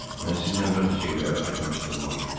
Mən sizlə bəzi şeyləri aydınlaşdırmalıyam.